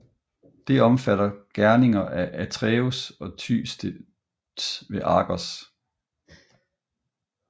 Det omfatter gerninger af Atreus og Thyestes ved Argos